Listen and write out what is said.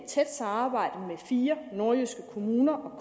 tæt samarbejde med fire nordjyske kommuner og